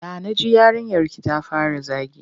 Ya na ji yarinyarki ta fara zagi?